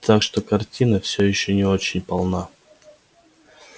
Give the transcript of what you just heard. так что картина всё ещё не очень полна